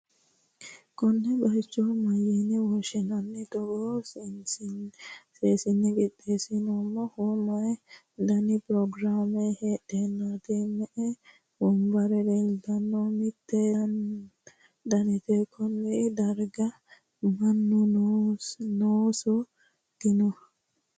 konne bayicho mayyi'ne woshshi'nanni? togoo seensille qixxeessi'neemmohu may dani pirogiraame heedhurooti? me'e wonbarra leeltannohe? hiitto danite? konne darga mannu noonso dino?